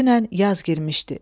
Dünən yaz girmişdi.